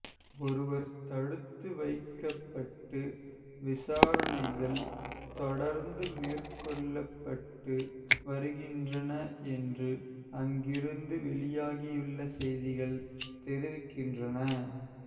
ஒருவர் தடுத்து வைக்கப்பட்டு விசாரணைகள் தொடர்ந்து மேற்கொள்ளப்பட்டு வருகின்றன என்று அங்கிருந்து வெளியாகியுள்ள செய்திகள் தெரிவிக்கின்றன